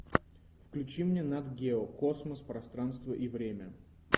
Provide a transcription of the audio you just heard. включи мне нат гео космос пространство и время